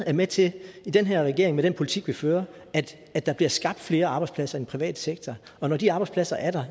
er med til i den her regering med den politik vi fører at der bliver skabt flere arbejdspladser i den private sektor og når de arbejdspladser er der